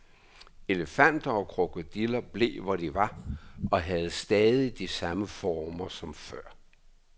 Elefanter og krokodiller blev, hvor de var, og havde stadig de samme former som før.